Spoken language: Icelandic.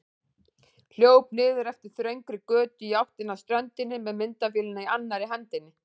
Hljóp niður eftir þröngri götu í áttina að ströndinni með myndavélina í annarri hendinni.